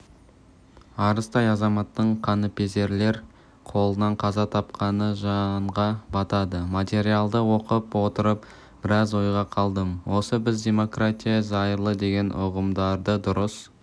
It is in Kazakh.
арыстай азаматтың қаныпезерлер қолынан қаза тапқаны жанға батады материалды оқып отырып біраз ойға қалдым осы біз демократия зайырлы деген ұғымдарды дұрыс